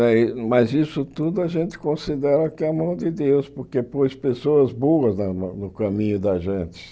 Aí, mas isso tudo a gente considera que é a mão de Deus, porque pôs pessoas boas na na no caminho da gente.